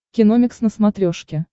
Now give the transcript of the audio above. киномикс на смотрешке